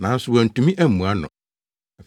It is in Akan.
Nanso wɔantumi ammua no.